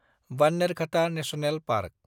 Bannerghatta national park